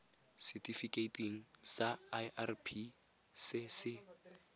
setifikeiting sa irp se se